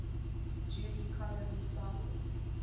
judy collins songs